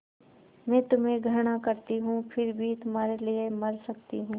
मैं तुम्हें घृणा करती हूँ फिर भी तुम्हारे लिए मर सकती हूँ